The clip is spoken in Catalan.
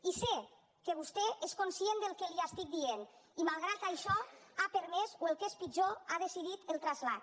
i sé que vostè és conscient del que li estic dient i malgrat això n’ha permès o el que és pitjor n’ha decidit el trasllat